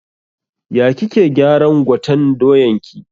Ya kike gyara gwaten doyan ki?